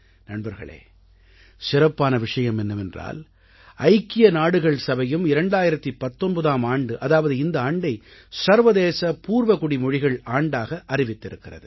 நண்பர்களே சிறப்பான விஷயம் என்னவென்றால் ஐக்கிய நாடுகள் சபையும் 2019ஆம் ஆண்டு அதாவது இந்த ஆண்டை சர்வதேச பூர்வகுடி மொழிகள் ஆண்டாக அறிவித்திருக்கிறது